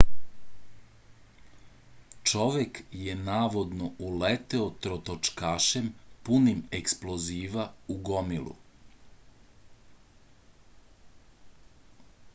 čovek je navodno uleteo trotočkašem punim eksploziva u gomilu